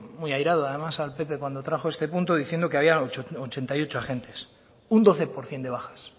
muy airado además al pp cuando trajo este punto diciendo que había ochenta y ocho agentes un doce por ciento de bajas